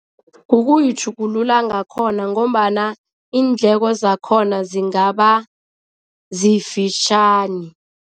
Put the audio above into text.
Kukuyitjhugulula ngakhona ngombana iindleko zakhona zingaba zifitjhani.